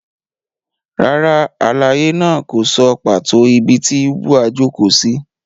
Rárá, àlàyé náà kò sọ pàtó ibi tí Ubwa jókòó sí.